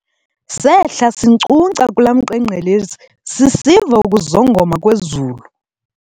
Sehla sinkcunkca kula mqengqelezi sisiva ukuzongoma kwezulu.